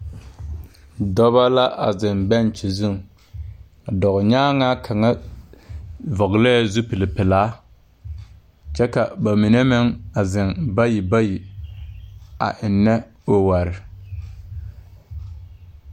Dɔbɔ la a zeŋ bɛnkye zuŋ a dɔɔ nyaŋaa kaŋa vɔglɛɛ zupile pilaa kyɛ ka ba mine meŋ a zeŋ bayi bayi a eŋnɛ ɔware.